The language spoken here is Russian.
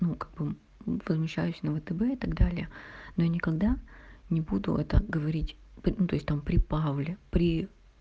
ну как бы мм возмущаюсь на втб и так далее но никогда не буду это говорить мм ну то есть там при павле при